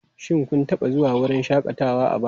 Shin kun taba zuwa wurin shakatawa a baya?